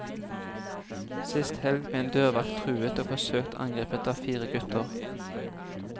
Sist helg ble en dørvakt truet og forsøkt angrepet av fire gutter.